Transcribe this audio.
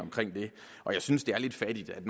og jeg synes det er lidt fattigt at